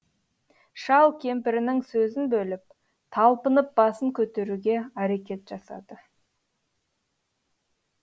шал кемпірінің сөзін бөліп талпынып басын көтеруге әрекет жасады